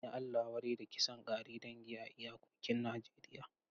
An yi Allah wadai da kisan kare dangi a iyakokin Najeriya.